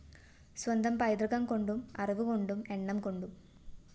സ്വന്തം പൈതൃകംകൊണ്ടും അറിവുകൊണ്ടും എണ്ണംകൊണ്ടും